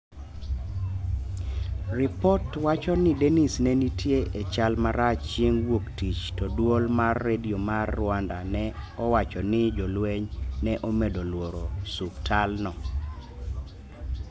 Ripot wacho ni denis ne nitie e chal marach chieng wuok tich to dwol mar redio mar rwanda ne owacho ni jolweny ne omedo lworo suptal no